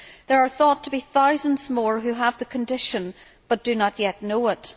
There are thought to be thousands more who have the condition but do not yet know it.